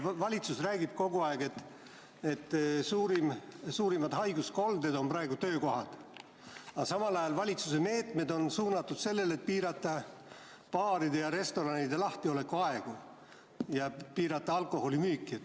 Valitsus räägib kogu aeg, et suurimad haiguskolded on praegu töökohad, aga samal ajal valitsuse meetmed on suunatud sellele, et piirata baaride ja restoranide lahtiolekuaegu ja piirata alkoholimüüki.